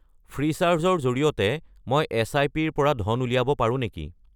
Freecharge ৰ জৰিয়তে মই এছআইপি-ৰ পৰা ধন উলিয়াব পাৰোঁ নেকি?